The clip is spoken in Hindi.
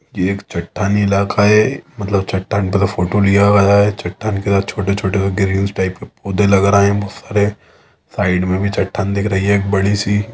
ये एक चट्टानी इलाका है मतलब चट्टान के साथ फोटो लिया गया है चट्टान का छोटे छोटे ग्रीन्स टाइप के पोधा लग रहे है बहुत सारे साइड मे भी चट्टान दिख रही हैं एक बड़ी सी--